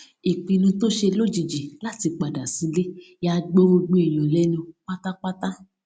ìpinnu tó ṣe lójijì láti padà sílé ya gbogbo èèyàn lénu pátápátá